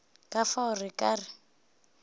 ka fao re ka re